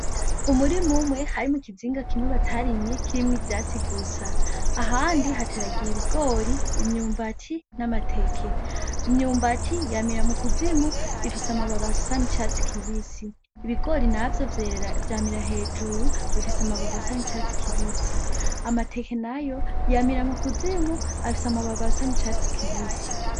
Umurima umwe harimwo ikiringa kimwe batariye n'ikindi harimwo ivyatsi gusa ahandi hateragiye ibigori , imyumbati n'amateke, Imyumbati yamira mukuzimu ifise amababi asa n'icatasi kibisi ,ibigori ntavyo vyamira hejuru bifise amababi asa nk'icatsi kibisi, amateke nayo yamira mu kuzimu Afise amababi asa nk'icatsi kibisi.